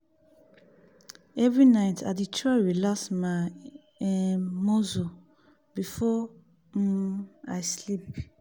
every night i dey try relax my um muscle before um i sleep.